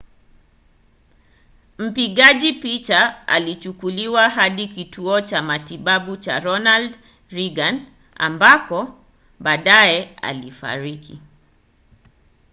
mpigaji picha alichukuliwa hadi kituo cha matibabu cha ronald reagan ambako baadaye alifariki